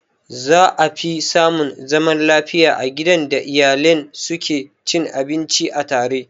Za afi samun zaman lafiya a gidan da iyalen su ke cin abinci a tare.